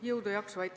Jõudu ja jaksu!